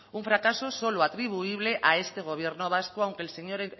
un fracaso solo atribuible a este gobierno vasco aunque el señor